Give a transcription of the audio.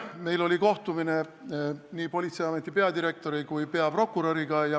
Mul oli kohtumine nii politseiameti peadirektori kui ka peaprokuröriga.